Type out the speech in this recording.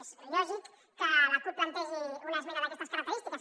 és lògic que la cup plantegi una esmena d’aquestes característiques